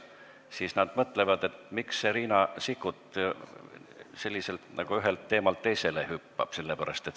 Nad siis mõtlevad, miks see Riina Sikkut nagu ühelt teemalt teisele hüppab.